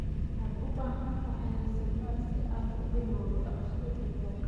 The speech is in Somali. Waxaad u baahan tahay raasamaal si aad u bilowdo dhaqashada digaaga.